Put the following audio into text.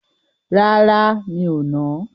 Rárá, mi ò nà á.